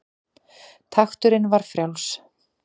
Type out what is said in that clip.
Takturinn var frjáls.